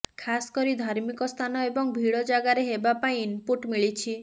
ଖାସକରି ଧାର୍ମିକସ୍ଥାନ ଏବଂ ଭିଡ ଜାଗାରେ ହେବା ପାଇଁ ଇନପୁଟ୍ ମିଳିଛି